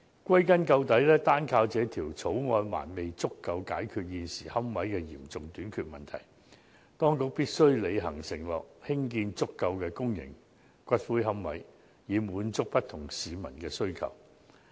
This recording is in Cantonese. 歸根究底，單靠這項《條例草案》不足以解決現時龕位嚴重短缺的問題，當局必須履行承諾，興建足夠的公營龕位，滿足不同市民的需求。